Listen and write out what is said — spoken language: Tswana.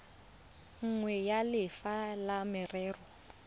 nngwe ya lefapha la merero